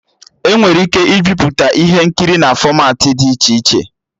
Enwere ike ibiputa ihe nkiri na fọmatị dị iche iche